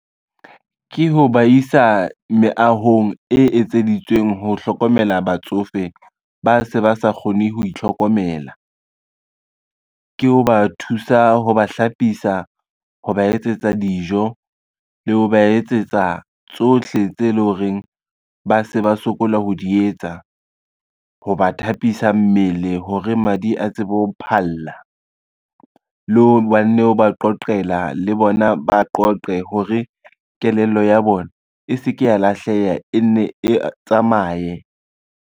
Ke ho ba isa meahong e etseditsweng ho hlokomela batsofe ba se ba sa kgone ho itlhokomela. Ke ho ba thusa, ho ba hlapisa, ho ba etsetsa dijo le ho ba etsetsa tsohle tse leng horeng ba se ba sokola ho di etsa. Ho ba thapisa mmele hore madi a tsebe ho phalla, le ho ba nne o ba qoqela le bona ba qoqe hore kelello ya bona e se ke ya lahleha, e nne e tsamaye.